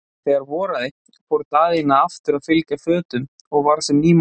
En þegar voraði fór Daðína aftur að fylgja fötum og varð sem ný manneskja.